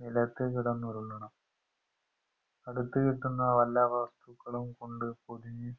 നിലത്തുകിടന്നുരുളണം അടുത് കിട്ടുന്ന വല്ല വസ്തുക്കളും കൊണ്ട് പൊതിഞ്